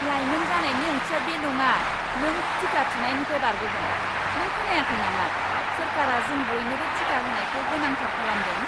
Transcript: लाइमोन जानायनि ओंथिया बे नङा नों टिका थुनायनिफ्राय बारग'गोन। नों खोनायाखै नामा सोरखारा जों बयनोबो टिका होनायखौ गोनांथार खालामदों!